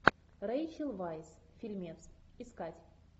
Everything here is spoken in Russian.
рэйчел вайс фильмец искать